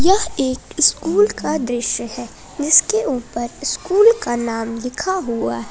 यह एक स्कूल का दृश्य है जिसके ऊपर स्कूल का नाम लिखा हुआ है।